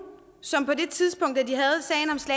som på et tidspunkt var